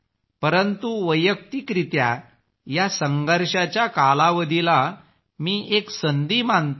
परंतु वैयक्तिकरित्या या संघर्षाच्या कालावधीला मी एक संधी मानतो